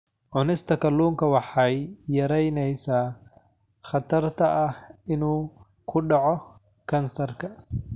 Cunista kalluunka waxay yaraynaysaa khatarta ah inuu ku dhaco kansarka.